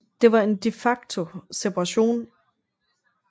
Det var en de facto separation